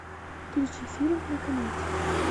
включи фильм на канате